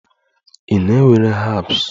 Ị na-ewere herbs?